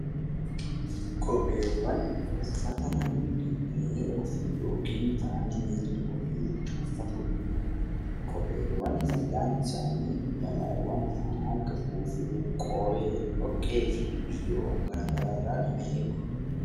Kopheewwan uffata namni miila ofiitti yookaan fa'aa miila ofiitti uffatudha. Kopheewwan fayidaan isaanii balaawwan ittisuu fi qoree , dhoqqee fi waan garaagaraa irraa nama eeguu.